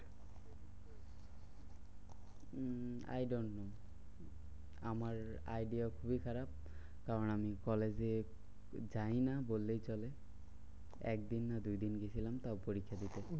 Um I do not know. আমার idea খুবই খারাপ। কারণ আমি কলেজে যাইনা বললেই চলে। একদিন না দুইদিন গেছিলাম তারপরে পরীক্ষা দিতে।